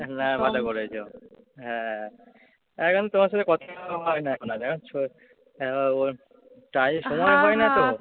না ভালো করেছো। হ্যাঁ এখন তোমার সঙ্গে কথাই বলা হয় না এখন আর জান তো। তাই সময় পাই না তো।